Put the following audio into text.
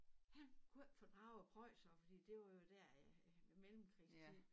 Han kunne ikke fordrage preussere for det var jo der i mellemkrigstiden